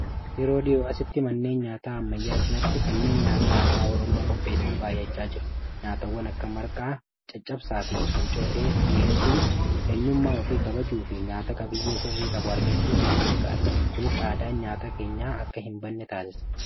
Yeroo dhihoo asitti manneen nyaataa ammayyaa cinaatti kanneen nyaataa aadaa Oromoo qopheessan baayyachaa jiru. Nyaatawwan akka marqaa, caccabsaa fi hancootee dhi'eessuun eenyummaa ofii kabajuu fi nyaata qabiyyee sirrii qabu argachuuf nama gargaara. Kunis aadaan nyaata keenyaa akka hin banne taassisa.